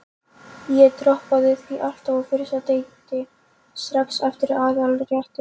Ég droppaði því alltaf á fyrsta deiti, strax eftir aðalréttinn.